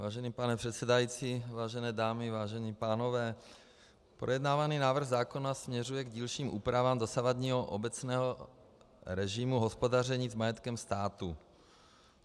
Vážený pane předsedající, vážené dámy, vážení pánové, projednávaný návrh zákona směřuje k dílčím úpravám dosavadního obecného režimu hospodaření s majetkem státu.